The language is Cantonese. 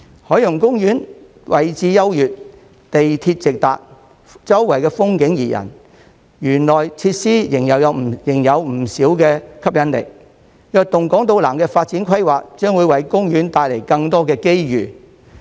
海洋公園位置優越，港鐵直達，周圍風景怡人，園內設施仍有不少吸引力；"躍動港島南"發展規劃將會為公園帶來更多的機遇。